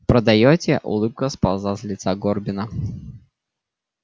продаёте улыбка сползла с лица горбина